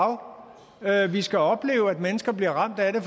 er lag vi skal opleve at mennesker bliver ramt af det